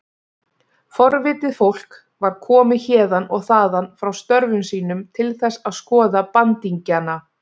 Forvitið fólk var komið héðan og þaðan frá störfum sínum til þess að skoða bandingjana.